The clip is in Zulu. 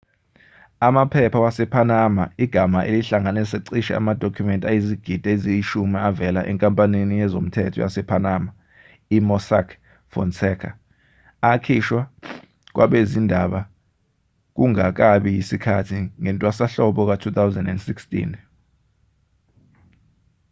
amaphepha wasepanama igama elihlanganisa cishe amadokhumenti ayizigidi eziyishumi avela enkampanini yezomthetho yasepanama i-mossack fonseca akhishwa kwabezindaba kungakabi yisikhathi ngentwasahlobo ka-2016